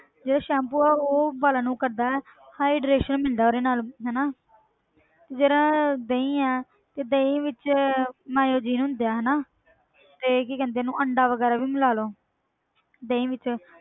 ਜਿਹੜਾ ਸੈਂਪੂ ਆ ਉਹ ਵਾਲਾਂ ਨੂੰ ਕਰਦਾ ਹੈ hydration ਮਿਲਦਾ ਉਹਦੇ ਨਾਲ ਹਨਾ ਜਿਹੜਾ ਦਹੀਂ ਹੈ ਤੇ ਦਹੀਂ ਵਿੱਚ neogen ਹੁੰਦੇ ਆ ਨਾ ਤੇ ਕੀ ਕਹਿੰਦੇ ਆ ਉਹਨੂੰ ਅੰਡਾ ਵਗ਼ੈਰਾ ਵੀ ਮਿਲਾ ਲਓ ਦਹੀਂ ਵਿੱਚ